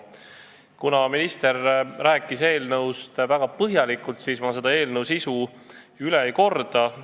Kuna minister rääkis eelnõust väga põhjalikult, siis ma selle sisu üle kordama ei hakka.